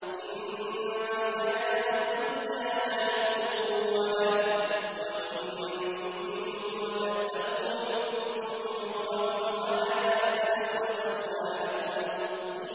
إِنَّمَا الْحَيَاةُ الدُّنْيَا لَعِبٌ وَلَهْوٌ ۚ وَإِن تُؤْمِنُوا وَتَتَّقُوا يُؤْتِكُمْ أُجُورَكُمْ وَلَا يَسْأَلْكُمْ أَمْوَالَكُمْ